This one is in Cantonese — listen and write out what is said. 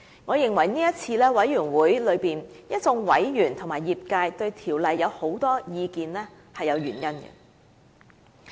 我認為這次在委員會內一眾委員和業界對《條例》有很多意見是有原因的。